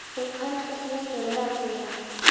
Hún kemst ekki lengra með ráðgjöfina.